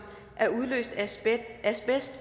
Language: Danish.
er udløst af asbest